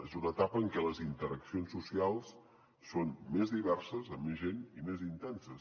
és una etapa en què les interaccions socials són més diverses amb més gent i més intenses